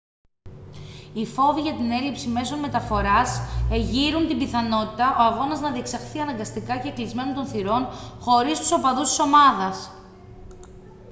οι φόβοι για την έλλειψη μέσων μεταφοράς εγείρουν την πιθανότητα ο αγώνας να διεξαχθεί αναγκαστικά κεκλεισμένων των θυρών χωρίς τους οπαδούς της ομάδας